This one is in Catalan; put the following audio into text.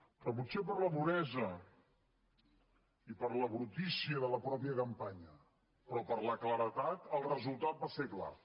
però potser per la duresa i per la brutícia de la mateixa campanya però per la claredat el resultat va ser clar